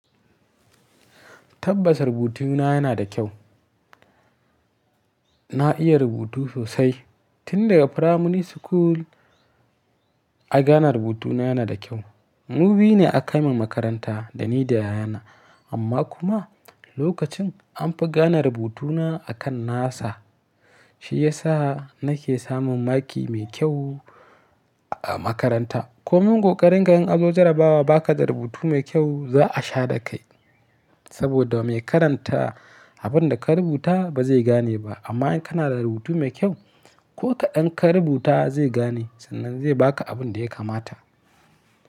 Tabbas rubutuna yana da kyau. Na iya rubutu sosai tun daga primary school. A gane rubutuna yana da kyau. Mu biyu ne aka min makaranta da ni da yayana. Amma kuma lokacin an fi gane rubutuna akan nasa. Shi ya sa nake samun maki mai kyau a makaranta. Ko min koƙarin in anzo jarabawa baka da rubutu mai kyau za a sha da kai. Saboda mai karanta abin da ka rubuta ba zai gane ba. Amma in kana da rubutu mai kyau ko kaɗan ka rubuta zai gane sannan zai baka abin da ya kamata.